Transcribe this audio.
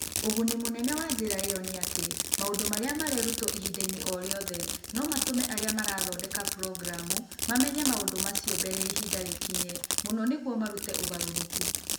Ũguni mũnene wa njĩra ĩyo nĩ atĩ maũndũ marĩa marerutwo ihinda-inĩ o rĩothe no matũme arĩa mathondekaga programu mamenye maũndũ macio mbere ya ihinda rĩkinye mũno nĩguo marute ũgarũrũku.